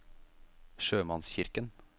sjømannskirken